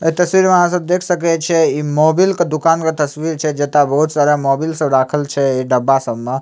ए तस्वीर में आहां सब देख सके छिये इ मोबिल के दुकान के तस्वीर छै जता बहुत सारा मोबिल सब राखल छै इ डब्बा सब में ।